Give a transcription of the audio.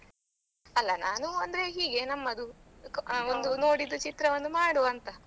ಅಲ್ಲ ನಾನು ಅಂದ್ರೆ ಹೀಗೆ ನಮ್ಮದು ಒಂದು ನೋಡಿದ ಚಿತ್ರವನ್ನು ಮಾಡುವ ಅಂತ.